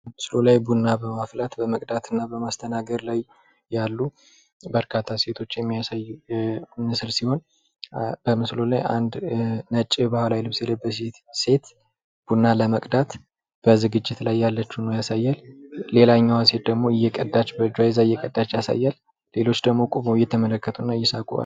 ምስሉ ላይ ቡና በማፍላት፣ በመቅዳትና በማስተናገድ ላይ ያሉ በርካታ ሴቶችን የሚያሳይ ምስል ሲሆን በምስሉ ላይ አንድ ነጭ ባህላዊ ልብስ የለበሰች ሴት ቡና ለመቅዳት በዝግጅት ላይ ያለች ሁኖ ያሳያል ።ሌላኛዋ ደግሞ በእጇ ይዛ እየቀዳች ያሳያል። ሌሎች ደግሞ ቁመው እያዩና እየሳቁ ነው ።